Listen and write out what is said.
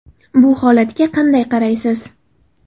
Bu holatga qanday qaraysiz?